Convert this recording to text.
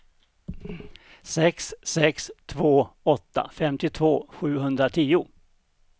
sex sex två åtta femtiotvå sjuhundratio